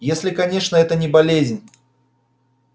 если конечно это не болезнь